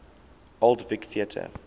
old vic theatre